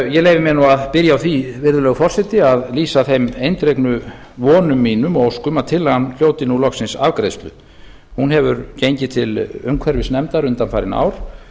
ég leyfi mér nú að byrja á því virðulegur forseti að lýsa þeim eindregnu vonum mínum og óskum að tillagan hljóti nú loksins afgreiðslu hún hefur gengið til umhverfisnefndar undanfarin ár